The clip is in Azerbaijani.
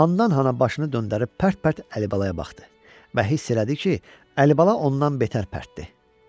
Handan-hana başını döndərib pərt-pərt Əlibalaya baxdı və hiss elədi ki, Əlibala ondan betər pərtdir.